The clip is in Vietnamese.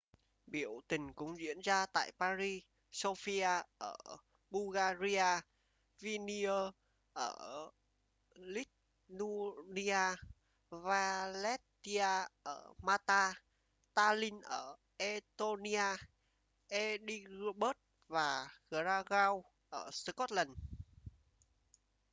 biểu tình cũng diễn ra tại paris sofia ở bulgaria vilnius ở lithuania valetta ở malta tallinn ở estonia edinburgh và glasgow ở scotland